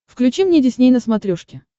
включи мне дисней на смотрешке